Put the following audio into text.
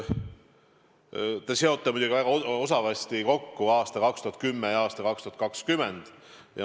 Te seote muidugi väga osavasti kokku aastad 2010 ja 2020.